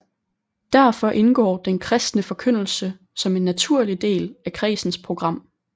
Derfor indgår den kristne forkyndelse som en naturlig del af kredsens program